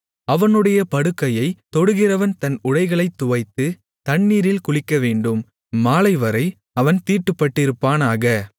அவனுடைய படுக்கையைத் தொடுகிறவன் தன் உடைகளைத் துவைத்து தண்ணீரில் குளிக்கவேண்டும் மாலைவரைத் அவன் தீட்டுப்பட்டிருப்பானாக